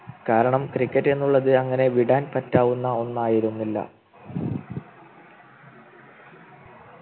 കാരണം Cricket എന്നുള്ളത് അങ്ങനെ വിടാൻ പറ്റാവുന്ന ഒന്നായിരുന്നില്ല